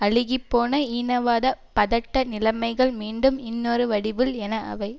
அழுகி போன ஈனவாத பதட்ட நிலைமைகள் மீன்டும் இன்னொரு வடிவில் என அவை